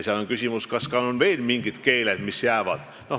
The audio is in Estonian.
Tekib küsimus, kas on veel mingid keeled, mis jäävad.